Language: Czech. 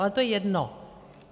Ale to je jedno.